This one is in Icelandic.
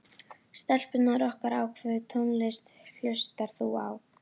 Stelpurnar okkar Hvaða tónlist hlustar þú á?